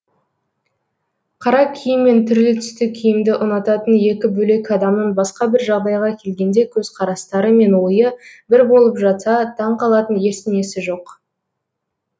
қара киім мен түрлі түсті киімді ұнататын екі бөлек адамның басқа бір жағдайға келгенде көзқарастары мен ойы бір болып жатса таң қалатын ештеңесі жоқ